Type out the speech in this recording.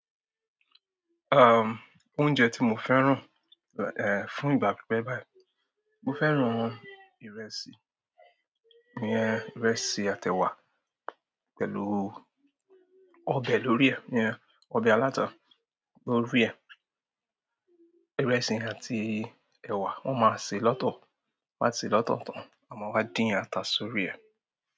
Um, oúnjẹ tí mo fẹ́ràn, eh, fún ìgbà pípẹ́ báyìí, mo fẹ́ràn ìrẹsì, ìrẹsì àti ewa pẹ̀lú ọbẹ̀ lórí ẹ̀, iyen ọbẹ̀ aláta lórí ẹ̀. Ìrẹsì àti ewa wọ́n ma ṣe lọ́tọ̀, won a ṣe lọ́tọ̀ to, a máa wá dín ata sórí ẹ̀.